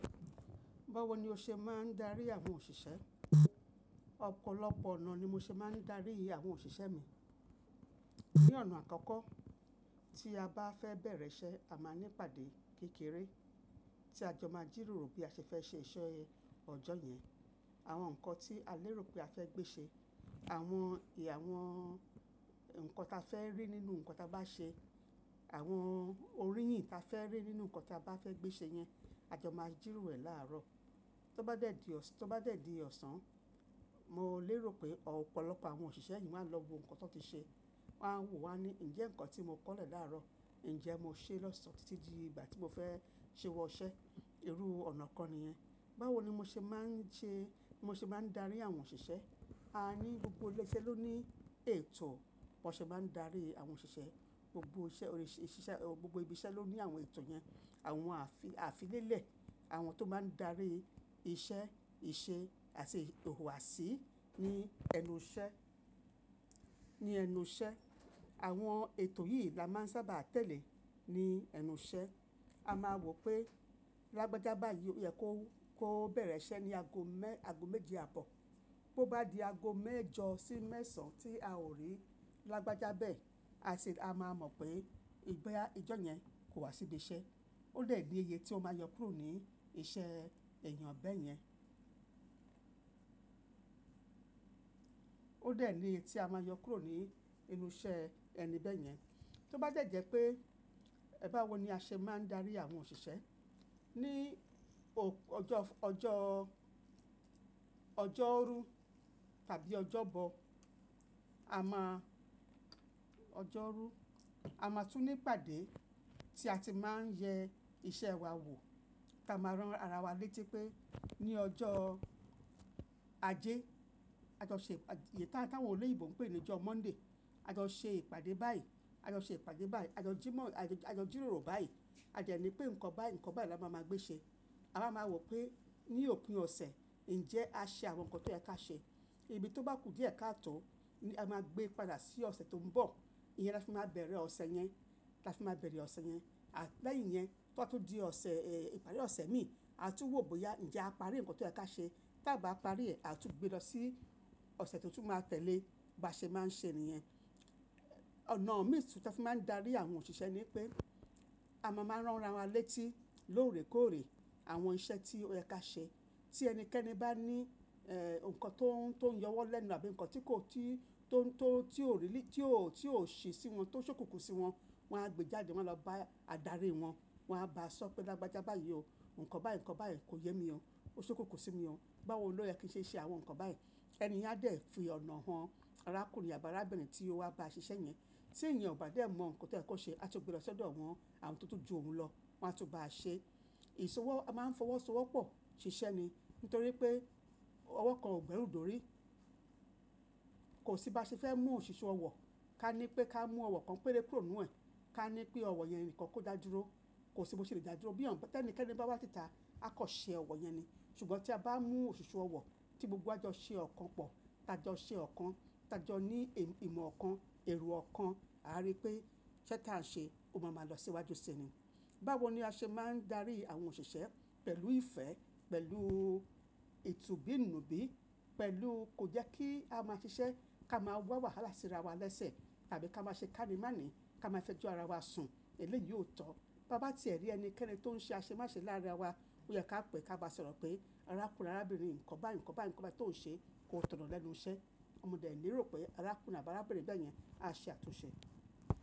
Báwo ni o ṣe máa ń darí àwọn òṣìṣẹ́? Ọ̀pọ̀lọpọ̀ ọ̀nà ni mo ṣe máa ń darí àwọn òṣìṣẹ́ mi. Ní ọ̀nà àkọ́kọ́, tí a bá fẹ́ bẹ̀rẹ̀ iṣẹ́ a máa ní pàdé kékeré, tí a jọ máa jìròrò bí a ṣe fẹ́ ṣe iṣẹ́ ọjọ́ yẹn. Àwọn nǹkan tí a lérò pé a fẹ́ gbé ṣe, àwọn ì, àwọn ǹkan ta fẹ́ rí nínú nǹkan ta bá ṣe, àwọn oríyìn ta fẹ́ rí nínú nǹkan ta bá fẹ́ gbé ṣe yẹn, a jọ máa jìròrò ẹ̀ láàárọ̀. Tó bá dẹ̀dí ọ̀sán, tó bá dẹ̀dí ọ̀sán, mo lérò pé ọ̀pọ̀lọpọ̀ àwọn òṣìṣẹ́ yìí máa lọ wo nǹkan tó ti ṣe, wọ́n a wò wá ní ǹjẹ́ nǹkan tí mo kọ̀lẹ̀ láàárọ̀, ǹjẹ́ mo ṣe é lọ́s-án títí di ìgbà tí mo fẹ́ síwọ́ iṣe. Irú ọ̀nà kan nìyẹn. Báwo ni mo ṣe máa ń ṣe, mo ṣe máa ń darí àwọn òṣìṣẹ́? A ní gbogbo ilé iṣẹ́ ló ní ètò bí wọ́n ṣe máa ń darí àwọn òṣìṣẹ́. Gbogbo iṣẹ́, gbogbo ibi iṣẹ́ ló ní àwọn ètò yẹn, àwọn àfi-àfilélẹ̀, àwọn tó máa ń darí iṣẹ́, ìṣe àti ìhùwà ṣí ní ẹnu iṣẹ́, ní ẹnu iṣẹ́. Àwọn ètò yìí la máa ń sábà tẹ̀lé ní ẹnu iṣẹ́. A máa wò pé, lágbájá báyìí ó yẹ kó, kó bẹ̀rẹ̀ iṣẹ́ ní ago mẹ́, ago méjì àbọ̀. Bí ó bá di ago mẹ́jọ sí mẹ́sàn tí a ò rí lágbájá bẹ́ẹ̀, a sì, a máa mọ̀ pé ì bá yá, ijọ́ yẹn kò wá síbí iṣẹ́. Ó dẹ̀ ní iye tí ó máa yọ kúrò ní iṣẹ́ ènìyàn bẹ́ẹ̀ yẹn. Ó dẹ̀ ní iye tí a máa yọ kúrò ní ẹnu iṣẹ́ ẹni bẹ́ẹ̀ yẹn. Tó bá dẹ̀ jẹ́ pé ẹ bá wò ní a ṣe máa ń darí àwọn òṣìṣẹ́. Ni ò, ọjọ́, ọjọ́, ọjọ́rú tàbí ọjọ́bọ, a máa, ọjọ́rú, a máa tún ní pàdé tí a ti máa ń yẹ iṣẹ́ wa wò. Tí a máa rán ara wa létí pé ní ọjọ́ ajé, a jọ ṣè ìpà, ìyẹn táwọn olè ìbò ń pè ní ọjọ́ Monday, a jọ ṣè ìpàdé báyìí, a jọ ṣè ìpàdé báyìí, a jọ jímọ̀, a jọ jìròrò báyìí. A jẹ̀ ní pé nǹkan báyìí, nǹkan báyìí la máa ma gbé ṣe. A máa ma wò pé ní òpin ọ̀sẹ̀ ǹjẹ́ a ṣe àwọn nǹkan tó yẹ ká ṣe. Ibi tó bá kù díẹ̀ ká tọ̀ ó, a máa gbé padà sí ọ̀sẹ̀ tó ń bọ̀. Iyẹn la fi máa bẹ̀rẹ̀ ọ̀sẹ̀ yẹn, la fi máa bẹ̀rẹ̀ ọ̀sẹ̀ yẹn. À lẹ́ yìn yẹn, tó bá tún di ọ̀sẹ̀ è, ìparí ọ̀sẹ̀ mi a tún wò bóyá ǹjẹ́ a parí nǹkan tó yẹ ká ṣe. Tí a bá parí ẹ̀ a tún gbé lọ sí ọ̀sẹ̀ tó tún máa tẹ́lẹ̀, bá ṣe máa ń ṣe nìyẹn. Ọ̀nà mìí tí wọ́n fi máa ń darí àwọn òṣìṣẹ́ ni pé a máa máa rán ara wa létí lóòrèkóòrè àwọn iṣẹ́ tí ó yẹ ká ṣe. Tí ẹnikẹ́ni bá ní eh, nǹkan tó ń, tó ń yọwọ́n lẹ́nu àbí nǹkan tí kò tí, tó ń, tó, tí ò rí, tí ò, tí ò ṣe sí wọn, tó ṣókùnkùn sí wọn, wọ́n á gbé jáde wọ́n á lọ bá adarí wọn, wọ́n á bá a sọ pé lágbájá báyìí o, nǹkan báyìí, nǹkan báyìí kò yẹ mi o, ó ṣókùnkùn sí mi o. Báwo ni ó yẹ kí n ṣe ṣe àwọn nǹkan báyìí. Ẹni yẹn á dẹ̀ fi ọ̀nà wọn, arákùnrin àbá arábìnrin tí ó wá bá ṣiṣẹ́ yẹn. Tí ènìyàn ò bá dẹ̀ mọ nǹkan tó yẹ kó ṣe, a tún gbé lọ sọ́dọ̀ wọ́n, àwọn tó tún ju òun lọ, wọ́n á tún bá a ṣe. Ìṣọwọ́, a máa ń fọwọ́ sọwọ́ pọ̀ ṣiṣẹ́ ni. Nítorí pé ọwọ́ kan ò gbẹ́rù dòrí. Kò sí bá ṣe fẹ́ mú òṣùṣù ọwọ́, ká ní pé ká mú ọwọ́ kan péré kúrò nínú ẹ̀. Ká ní pé ọwọ́ yẹn nìkan kó dá dúró. Kò sí bó ṣe lè dá dúró bí òǹ, bí ẹnikẹ́ni bá wá síta a kọ́ ṣe ọwọ́ yẹn ni. Ṣùgbọ́n tí a bá mú òṣùṣù ọwọ́ tí gbogbo wa ọjọ́ ṣe ọ̀kan pọ̀, tájọ ṣe ọ̀kan, tájọ ní èèyí ìmọ̀ ọ̀kan, èrò ọ̀kan, a rí pé iṣẹ́ tí à ń ṣe ó máa máa lọ síwájú síi ni. Báwo ni a ṣe máa ń darí àwọn òṣìṣẹ́? Pẹ̀lú ìfẹ́, pẹ̀lú ètù bí nù bí, pẹ̀lú kò jẹ́ kí a máa ṣiṣẹ́ ká máa wá wàhálà sí ara wa lẹ́sẹ̀ tàbí ká máa ṣe kánimáànì ká máa fẹ́ ju ara wa sùn. Èlé yìí ò tọ́. Bá bá ti ẹ̀ rí ẹnikẹ́ni tó ń ṣe àṣemáṣe lára wa ó yẹ ká pè ẹ ká bá sọ̀rọ̀ pé arákùnrin, arábìnrin nǹkan báyìí, nǹkan báyìí, nǹkan báyìí tó ń ṣe kò tọ̀nà lẹ́nu iṣẹ́. Mo dẹ̀ lè rò pé arákùnrin àbá arábìnrin bẹ́ẹ̀ yẹn á ṣe àtúnṣe.